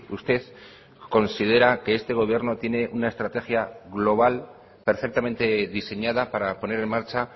usted considera que este gobierno tiene una estrategia global perfectamente diseñada para poner en marcha